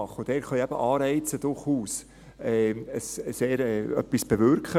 Und dort können Anreize eben durchaus sehr wirksam sein.